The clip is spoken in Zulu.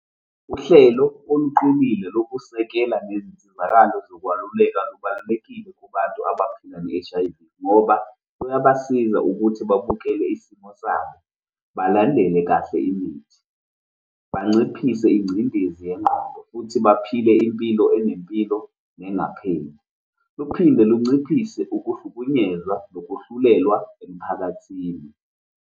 Uhlelo oluqinile lokusekela nezinsizakalo zokwaluleka kubalulekile kubantu abaphila ne-H_I_V, ngoba kuyabasiza ukuthi bakhokhele izimo zabo, balandele kahle imithi, banciphise ingcindezi yengqondo, futhi baphile impilo enempilo nengapheli. Luphinde lunciphise ukuhlukunyezwa nokwehlulelwa emphakathini.